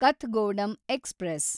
Kathgodam express